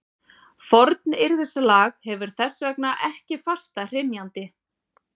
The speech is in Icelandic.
Fornyrðislag hefur þess vegna ekki fasta hrynjandi.